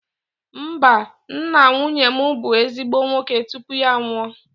Mba, nna nwunye m bụ ezigbo nwoke tupu ya anwụọ